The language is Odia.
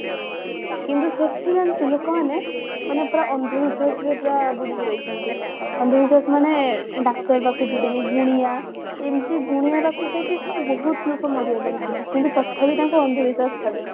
କିନ୍ତୁ ସେଠି ଜାଣିଛୁ ଲୋକମାନେ ମାନେ ପୁରା ଅନ୍ଧ ବିଶ୍ବାସ ଯେ ପୁରା ବୁଡିକି ରହିଛନ୍ତି ଅନ୍ଧ ବିଶ୍ବାସ ମାନେ ଡାକ୍ତର ପାଖକୁ ଯିବେନି ଗୁଣିଆ ଏମତି ଗୁଣିଆ ପାଖକୁ ଯାଇକି ବହୁତ ଲୋକ ମରିଗଲେଣି ସେଠି କିନ୍ତୁ ତଥାପି ତାଙ୍କୁ ଅନ୍ଧ ବିଶ୍ବାସ ଛାଡୁନି